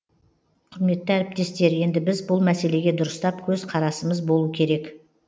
құрметті әріптестер енді біз бұл мәселеге дұрыстап көз қарасымыз болу керек